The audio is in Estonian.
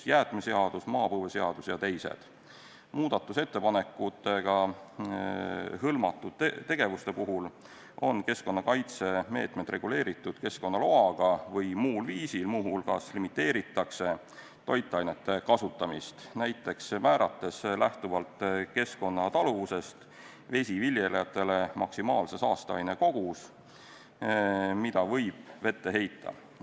Muudatusettepanekutega hõlmatud tegevuste puhul on keskkonnakaitse meetmed reguleeritud keskkonnaloaga või muul viisil, muu hulgas limiteeritakse toitainete kasutamist, näiteks määrates lähtuvalt keskkonnataluvusest vesiviljelejatele maksimaalse saasteaine koguse, mida võib vette heita.